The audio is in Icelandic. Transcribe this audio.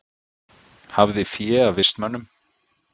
Hafði fé af vistmönnum